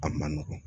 A ma nɔgɔn